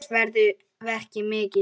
Hans verður mikið saknað.